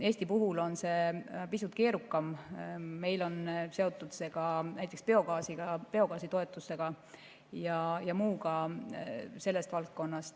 Eesti puhul on see pisut keerukam, sest meil on see seotud ka näiteks biogaasiga, biogaasitoetustega ja muuga sellest valdkonnast.